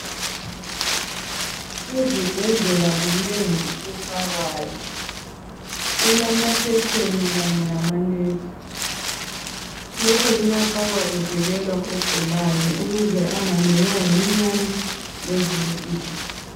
Ezibhedlela kunengi okufakwayo, kulamakhetheni kanye lamanethi, lokhu kuyafakwa kuvikelwa ogulayo ukuze angalunywa yiminyane lezinye izinto.